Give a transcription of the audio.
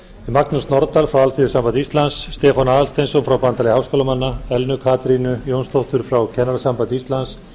magnús norðdahl frá alþýðusambandi íslands stefán aðalsteinsson frá bandalagi háskólamanna elnu katrínu jónsdóttur frá kennarasambandi íslands